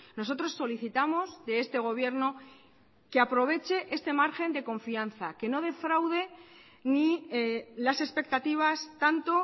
nosotros solicitamos de este gobierno que aproveche este margen de confianza que no defraude ni las expectativas tanto